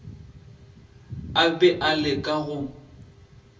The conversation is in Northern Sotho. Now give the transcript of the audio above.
a be a leka go